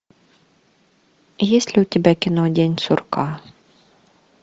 есть ли у тебя кино день сурка